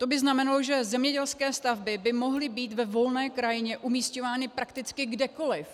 To by znamenalo, že zemědělské stavby by mohly být ve volné krajině umisťovány prakticky kdekoliv.